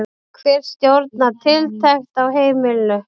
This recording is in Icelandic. Hver stjórnar tiltekt á heimilinu?